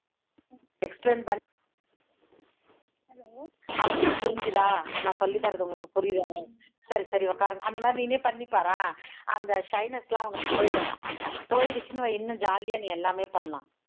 explain பண்ணி அவங்களுக்கு புரிஞ்சுதா நான் சொல்லி தர்றது உங்களுக்கு புரியுதா சரி சரி உக்காருங்க அந்த மாதிரி நீனே பண்ணி பாரேன். அந்த shyness லாம் உனக்கு போய்டும், போய்டுச்சுன்னுவை இன்னும் நீ jolly ஆ எல்லாமே பண்ணலாம்